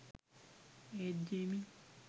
ඒත් ජේමි